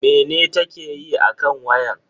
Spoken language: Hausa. Mene ta ke yi akan wayan?